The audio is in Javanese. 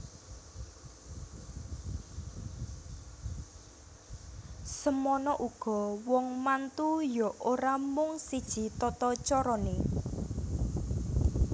Semana uga wong mantu ya ora mung siji tatacarane